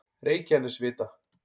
Reykjanesvita